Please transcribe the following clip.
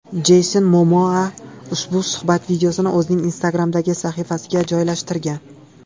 Jeyson Momoa ushbu suhbat videosini o‘zining Instagram’dagi sahifasiga joylashtirgan.